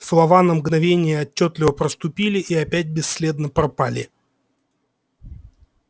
слова на мгновение отчётливо проступили и опять бесследно пропали